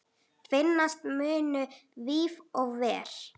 Finnast munu víf og ver.